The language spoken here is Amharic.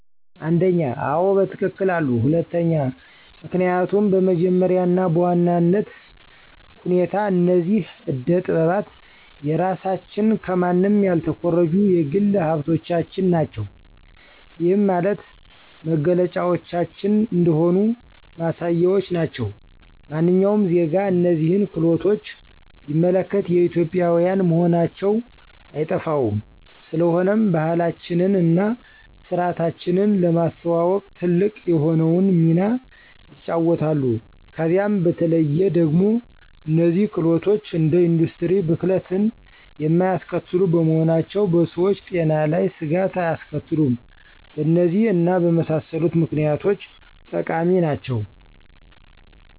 1, አዎ በትክክል አሉ፤ 2, ምክኒያቱም በመጀመሪያ እና በዋናነት ሁኔታ እነዚህ አደ ጠጥባት የራሳችን ከማንም ያልተኮረጁ የግል ሀብቶቻችን ናቸው። ይህም ማለት መገለጫዎቻችን እንደሆኑ ማሳያዎች ናቸው። ማንኛውም ዜጋ እነዚህን ክህሎቶች ቢመለከት የኢትዮጵዊያን መሆናቸው አይጠፋውም፤ ስለሆነም ባህላችንን እና ስርዓታችንን ለማስተዋወቅ ትልቅ የሆነውን ሚና ይጫወታሉ። ከዛም በተለዬ ደግሞ እነዚህ ክህሎቶች እንደ ኢንዱስትሪ ብክለትን የማያስከትሉ በመሆናቸው በሰዎች ጤና ላይ ስጋት አያስከትሉም። በእነዚህ እና በመሳሰሉት ምክኒያቶች ጠቃሚ ናቸው።